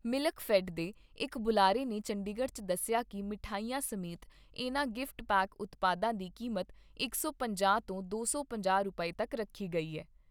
ਮਿਲਕਫੈੱਡ ਦੇ ਇਕ ਬੁਲਾਰੇ ਨੇ ਚੰਡੀਗੜ 'ਚ ਦੱਸਿਆ ਕਿ ਮਿਠਾਈਆਂ ਸਮੇਤ ਇਨ੍ਹਾਂ ਗਿਫਟ ਪੈਕ ਉਤਪਾਦਾਂ ਦੀ ਕੀਮਤ ਡੇਢ ਸੌ ਤੋਂ ਢਾਈ ਸੌ ਰੁਪਏ ਤੱਕ ਰੱਖੀ ਗਈ ਏ।